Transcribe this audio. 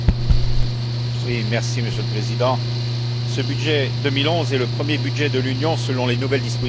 Monsieur le Président, ce budget 2011 est le premier budget de l'Union selon les nouvelles dispositions du traité de Lisbonne.